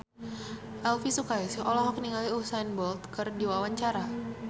Elvi Sukaesih olohok ningali Usain Bolt keur diwawancara